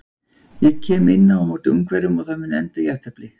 Ég kem inn á móti Ungverjum og það mun enda í jafntefli.